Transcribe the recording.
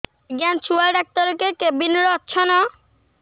ଆଜ୍ଞା ଛୁଆ ଡାକ୍ତର କେ କେବିନ୍ ରେ ଅଛନ୍